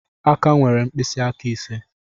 Aka nwere mpisiaka ise